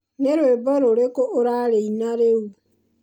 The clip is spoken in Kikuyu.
nĩ rwĩmbo rũrĩkũ ũrarĩina rĩu